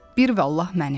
bir vallah mənim.